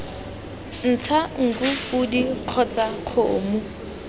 ntsha nku podi kgotsa kgomo